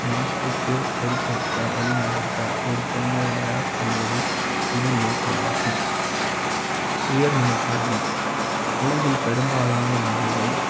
நாட்டுக்கு பொறுப்பேற்க வழிநடத்த ஒரு குழந்தை யை தயார் செய்வது இதன் நோக்க மாகும் உயர்நிலை க் கல்வி உலகில் பெரும்பாலான நாடுகள்